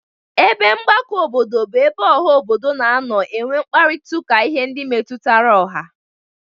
Ebe mgbakọ obodo bụ ebe ọha obodo na-anọ enwe mkparịtaụka ihe ndị metutara ọha.